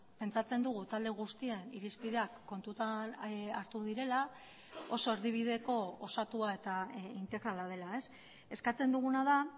pentsatzen dugu talde guztien irizpideak kontutan hartu direla oso erdibideko osatua eta integrala dela eskatzen duguna da